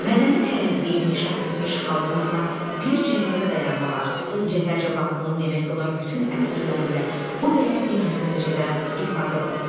Mədəni tərəqqi inkişaf etmiş xalqlarla bir cərgədə dayanmaq arzusu Cəfər Cabbarlının demək olar bütün əsərlərində bu və ya digər dərəcədə ifadə olunmuşdu.